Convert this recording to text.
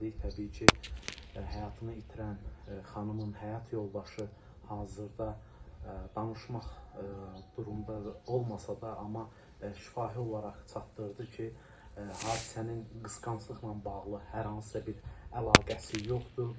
Təbii ki, həyatını itirən xanımın həyat yoldaşı hazırda danışmaq durumda olmasa da, amma şifahi olaraq çatdırdı ki, hadisənin qısqanclıqla bağlı hər hansısa bir əlaqəsi yoxdur.